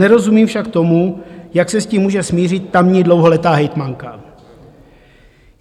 Nerozumím však tomu, jak se s tím může smířit tamní dlouholetá hejtmanka.